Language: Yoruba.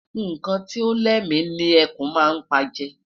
Nnkan Ti o lémi ni ẹkùn má n pa je